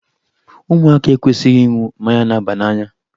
Ụmụaka ekwesịghị ịṅụ mmanya na-aba n'anya.